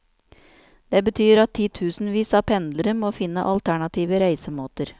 Det betyr at titusenvis av pendlere må finne alternative reisemåter.